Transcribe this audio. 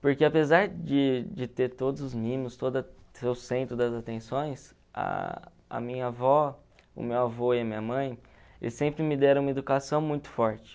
Porque apesar de de ter todos os mimos, toda ser o centro das atenções, a minha avó, o meu avô e a minha mãe, eles sempre me deram uma educação muito forte.